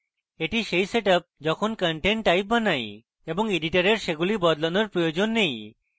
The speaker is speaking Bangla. এটি set set up যখন content type বানাই এবং editor সেগুলি বদলানোর প্রয়োজন নেই